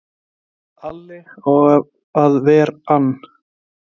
Alli á að ver ann!